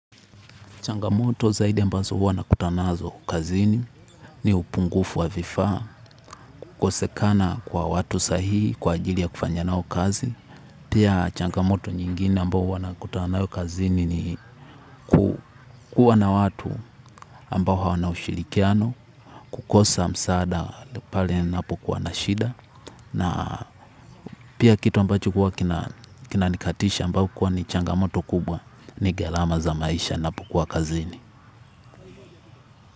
Changamoto zaidi ambazo huwa na kutanazo kazini ni upungufu wa vifaa kukosekana kwa watu sahihi kwa ajili ya kufanya nao kazi. Pia changamoto nyingine ambazo huwa na kutanazo kazini ni kukuwa na watu ambao hawana ushirikiano kukosa msaada pale ninapokuwa na shida. Na pia kitu ambacho kuwa kina nikatisha ambayo kuwa ni changamoto kubwa ni gharama za maisha na pokuwa kazini.